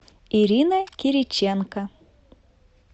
ирина кириченко